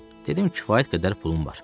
Dedim, kifayət qədər pulum var.